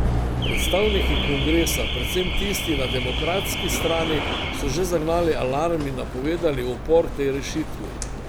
Predstavniki kongresa, predvsem tisti na demokratski strani, so že zagnali alarm in napovedali upor tej rešitvi.